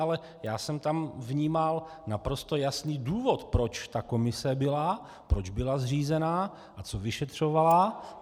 Ale já jsem tam vnímal naprosto jasný důvod, proč ta komise byla, proč byla zřízena a co vyšetřovala.